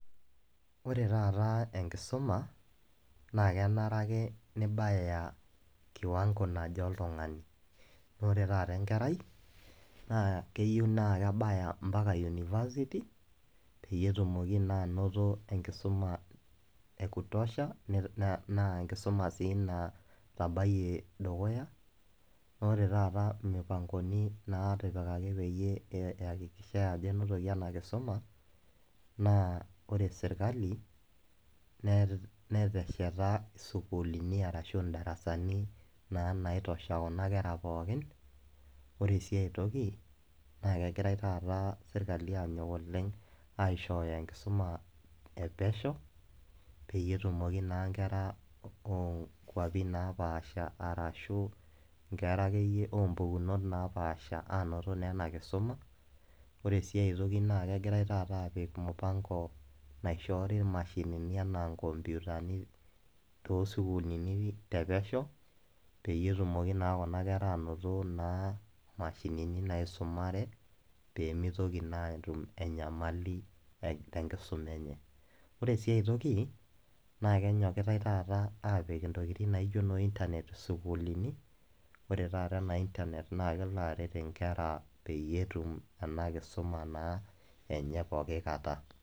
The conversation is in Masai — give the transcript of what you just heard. Ore taata enkisuma naa kenare ake nibaya kiwango naje oltung'ani, naa ore taata enkerai, naa kenare naa kebaya ompaka unifasiti, peyie etumoki naa ainoto enkisuma e kutosha naa enkisuma sii natabayie dukuya naa ore taata imupangoni naitipikaki peyie eihakikishai ajo einotoki ena kisuma, naa ore sirkali netesheta isukulini ashu indarasani naa naitosha Kuna pookin. Ore sii ai toki, naa kegirai taata sirkali aanyok oleng' aishooyo enkisuma e pesho, peyie etumoki naa inkera o nkwapi napaasha ashu ake iyie inkera o mpukunot napaasha ainoto naa ena kisuma. Ore sii taata negirai aapik mupango naishori imashinini anaa inkopyutani too sukulini te pesho peyie etumoki naa Kuna kera ainoto naa mashini naisumare, pee meitoki naa Kuna kera aatum enyamali te enkisuma enye. Ore sii enkai toki naa enyokitai taata aapik intokitin naijo noo internet isukulini. Ore taata ena internet naa kelo aret inkera peyie etum ena kisuma enye naa pooki kata.